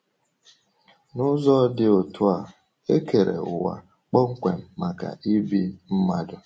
N’ụzọ dị otú a, e kere ụwa kpọmkwem maka ibi mmadụ.